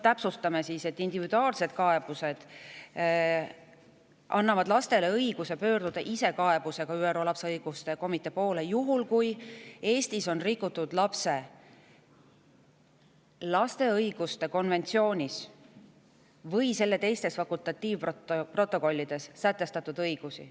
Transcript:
Täpsustan, et individuaalsete kaebuste annab lastele õiguse pöörduda ise kaebusega ÜRO lapse õiguste komitee poole juhul, kui Eestis on rikutud lapse õiguste konventsioonis või selle teistes fakultatiivprotokollides sätestatud õigusi.